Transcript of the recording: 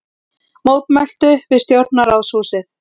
Mótmæltu við stjórnarráðshúsið